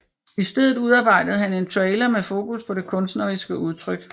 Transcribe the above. I stedet udarbejdede han en trailer med fokus på det kunstneriske udtryk